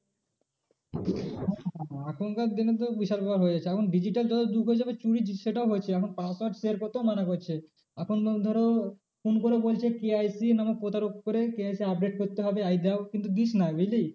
এখনকার দিনে তো বিশাল ব্যাপার হয়ে যাচ্ছে এখন digital যত যুগ হয়ে যাবে চুরি সেটাও হয়েছে এখন password share করতেও মানা করছে। এখন তোমার ধর phone করে বলছে KYC নামক প্রতারক করে KYC update করতে হবে এই দাও কিন্তু দিস না বুঝলি